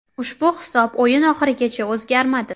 Ushbu hisob o‘yin oxirigacha o‘zgarmadi.